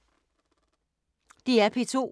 DR P2